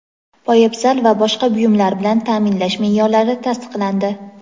poyabzal va boshqa buyumlar bilan taʼminlash meʼyorlari tasdiqlandi.